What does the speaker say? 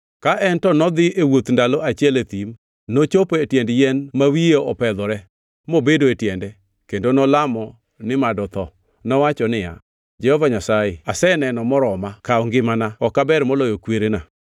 ka en to nodhi e wuodh ndalo achiel e thim. Nochopo e tiend yien ma wiye opedhore mobedo e tiende kendo nolamo ni mad otho. Nowacho niya, “Jehova Nyasaye, aseneno moroma, kaw ngimana, ok aber moloyo kwerena.”